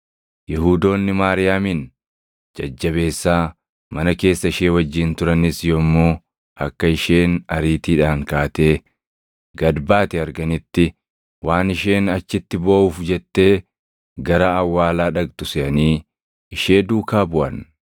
Yihuudoonni Maariyaamin jajjabeessaa mana keessa ishee wajjin turanis yommuu akka isheen ariitiidhaan kaatee gad baate arganitti waan isheen achitti booʼuuf jettee gara awwaalaa dhaqxu seʼanii ishee duukaa buʼan.